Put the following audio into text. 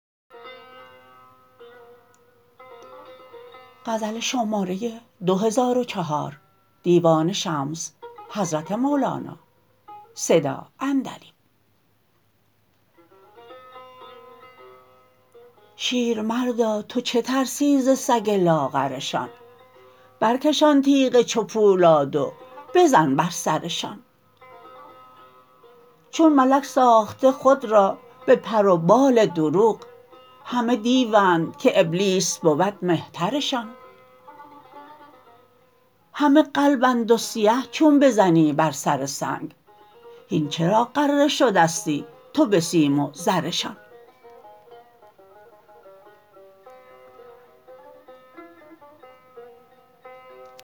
شیرمردا تو چه ترسی ز سگ لاغرشان برکش آن تیغ چو پولاد و بزن بر سرشان چون ملک ساخته خود را به پر و بال دروغ همه دیوند که ابلیس بود مهترشان همه قلبند و سیه چون بزنی بر سر سنگ هین چرا غره شدستی تو به سیم و زرشان